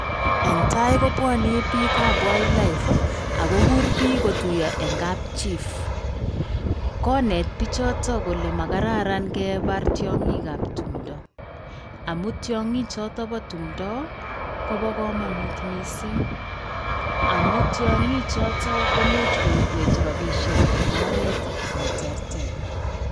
Eng tai kopwani biikab wildlife akokur biik kotuiyo eng kapchief. Koneet bichoto kole makararan kebar tiong'iing'ab tumdo amu tiong'iichoto ba tumdo kopa kamanut missing. Amu tiong'iichoto komuch koibwech robishek eng oret neterter.